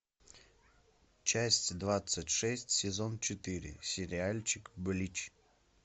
часть двадцать шесть сезон четыре сериальчик блич